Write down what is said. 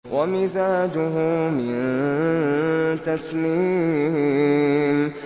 وَمِزَاجُهُ مِن تَسْنِيمٍ